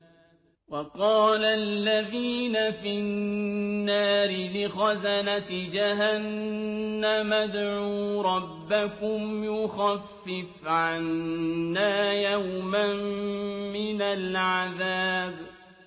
وَقَالَ الَّذِينَ فِي النَّارِ لِخَزَنَةِ جَهَنَّمَ ادْعُوا رَبَّكُمْ يُخَفِّفْ عَنَّا يَوْمًا مِّنَ الْعَذَابِ